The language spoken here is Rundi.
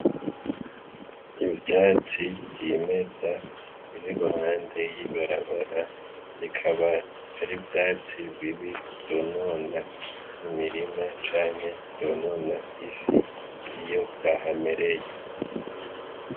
Ivyatsi vyimeza biri iruhande y'ibarabara bikaba ari ivyatsi bibi vyonona imirima canke vyonona isi iyo vyahamereye.